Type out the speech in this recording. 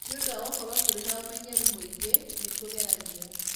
Nĩ ũndũ wa gũkorũo tũrĩ na ũmenyeru mũingĩ, nĩ tũgeragia.